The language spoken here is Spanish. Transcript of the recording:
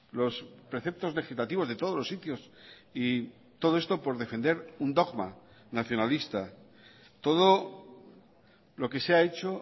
los preceptos legislativos de todos los sitios y todo esto por defender un dogma nacionalista todo lo que se ha hecho